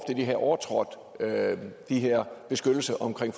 de havde overtrådt den her beskyttelse omkring